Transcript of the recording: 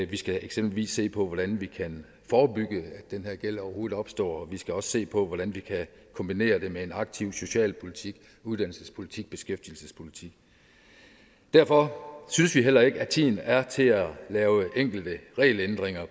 vi skal eksempelvis se på hvordan vi kan forebygge at den her gæld overhovedet opstår og vi skal også se på hvordan vi kan kombinere det med en aktiv socialpolitik uddannelsespolitik og beskæftigelsespolitik derfor synes vi heller ikke at tiden er til at lave enkelte regelændringer